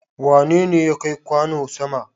Wane ne ya kai kwano sama?